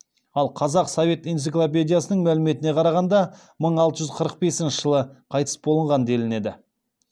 ал қазақ совет энциклопедиясының мәліметіне қарағанда мың алты жүз қырық бесінші жылы қайтыс болған делінеді